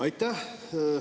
Aitäh!